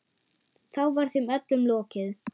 Þá var þeim öllum lokið.